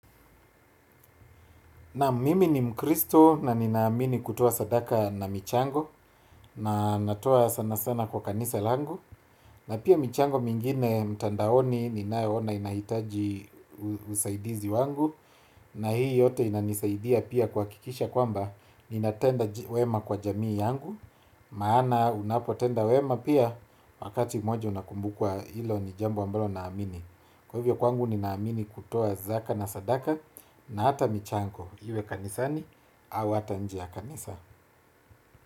Naam, mimi ni mkristo na ninaamini kutoa sadaka na michango na natoa sana sana kwa kanisa langu na pia michango mingine mtandaoni ninayoona inahitaji usaidizi wangu na hii yote inanisaidia pia kuhakikisha kwamba ninatenda wema kwa jamii yangu maana unapotenda wema pia wakati mmoja unakumbukwa. Hilo ni jambo ambalo naamini. Kwa hivyo kwangu ni naamini kutoa zaka na sadaka na hata michango iwe kanisani au hata nje ya kanisa.